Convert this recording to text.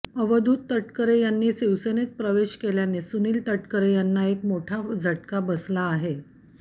अवधूत तटकरे यांनी शिवसेनेत प्रवेश केल्याने सुनील तटकरे यांना एक मोठा झटका बसला आहे